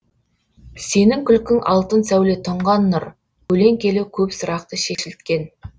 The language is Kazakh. сенің күлкің алтын сәуле тұнған нұр көлеңкелі көп сұрақты шешілткен